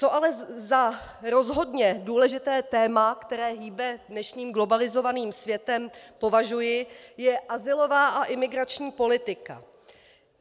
Co ale za rozhodně důležité téma, které hýbe dnešním globalizovaným světem, považuji, je azylová a imigrační politika.